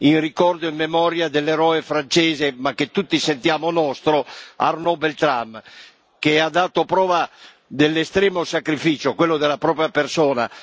in ricordo e in memoria dell'eroe francese, ma che tutti sentiamo nostro, Arnaud Beltrame, che ha dato prova dell'estremo sacrificio quello della propria persona.